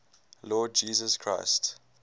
lord jesus christ